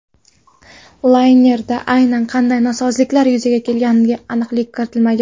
Laynerda aynan qanday nosozliklar yuzaga kelganiga aniqlik kiritilmagan.